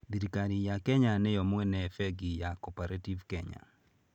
Thirikari ya Kenya nĩ yo mwene Bengi ya Cooperative Kenya.